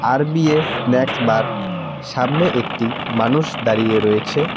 আর_বি_এ snacks bar সামনে একটি মানুষ দাঁড়িয়ে রয়েছে।